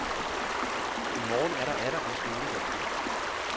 I morgen er der atter en skoledag.